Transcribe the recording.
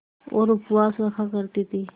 और उपवास रखा करती थीं